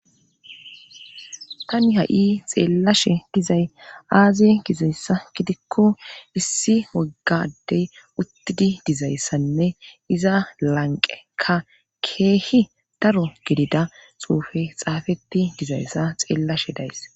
tani ha7i xeellashe dizay aaziy gizayssa gidikko issi woggadey uttidi dizayssanne iza lanqe ka keehi daro gidida xuufe xaafeti dizayssa xeellashe days